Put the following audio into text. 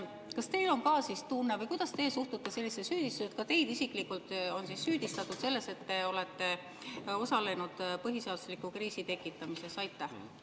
Kas teil on samuti tunne või kuidas teie suhtute sellisesse süüdistusse – ka teid isiklikult on süüdistatud selles –, et te olete osalenud põhiseadusliku kriisi tekitamises?